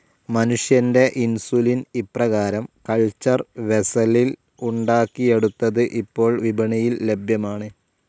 മനുഷ്യന്റെ ഇൻസുലിൻ ഇപ്രകാരം കൾച്ചർ വെസ്സലിൽ ഉണ്ടാക്കിയെടുത്തത് ഇപ്പോൾ വിപണിയിൽ ലഭ്യമാണ്.